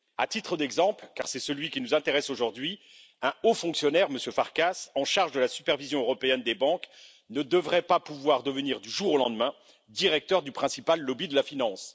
À titre d'exemple, car c'est celui qui nous intéresse aujourd'hui, un haut fonctionnaire, M. Farkas, en charge de la supervision européenne des banques, ne devrait pas pouvoir devenir du jour au lendemain directeur du principal lobby de la finance.